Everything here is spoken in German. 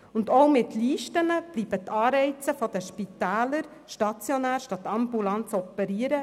Und auch mit Listen bleibt für die Spitäler der Anreiz, stationär statt ambulant zu operieren.